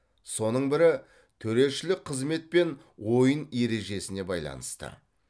соның бірі төрешілік қызмет пен ойын ережесіне байланысты